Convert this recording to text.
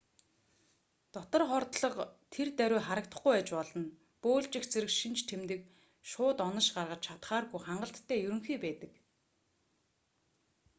дотор хордлого тэр даруй харагдахгүй байж болно бөөлжих зэрэг шинж тэмдэг шууд онош гаргаж чадахааргүй хангалттай ерөнхий байдаг